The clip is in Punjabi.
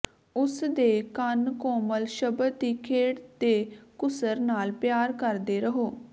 ਉਸ ਦੇ ਕੰਨ ਕੋਮਲ ਸ਼ਬਦ ਦੀ ਖੇਡ ਦੇ ਘੁਸਰ ਨਾਲ ਪਿਆਰ ਕਰਦੇ ਰਹੋ